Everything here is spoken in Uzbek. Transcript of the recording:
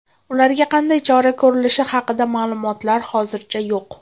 Ularga qanday chora ko‘rilishi haqida ma’lumotlar hozircha yo‘q.